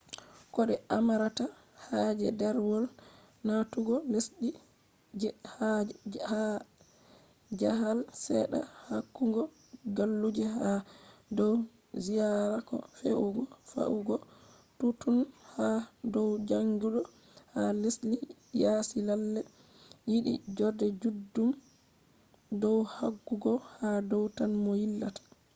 ko de amarata haje derwol natugo lesdhi je jahale sedda yahugo galluje ha dow ziyara ko fe’ugo yahugo touttoun ha dow jangidu ha lesdhi yasi lalle yidi jode juddum dow yahugo ha dow tan mo yillata